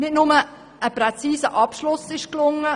Es ist nicht nur ein präziser Abschluss gelungen.